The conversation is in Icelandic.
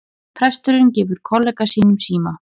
Presturinn gefur kollega sínum síma